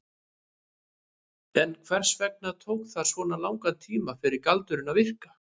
En hvers vegna tók það svona langan tíma fyrir galdurinn að virka?